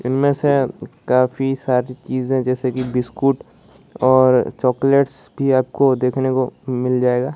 इनमें से काफ़ी सारी चीज़ है जैसे कि बिस्कुट और चॉकलेट्स भी आपको देखने को मिल जाएगा।